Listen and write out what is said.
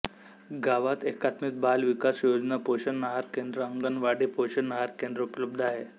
गावात एकात्मिक बाल विकास योजना पोषण आहार केंद्रअंगणवाडी पोषण आहार केंद्र उपलब्ध आहे